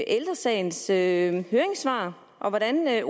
ældre sagens sagens høringssvar hvordan